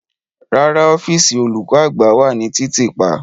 Rara, ọfiisi olukọ-agba wa ni titiipa.